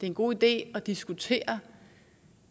en god idé at diskutere